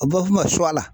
A bɛ f'o ma suwa